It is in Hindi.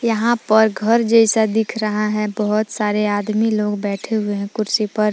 यहां पर घर जैसा दिख रहा है बहुत सारे आदमी लोग बैठे हुए हैं कुर्सी पर।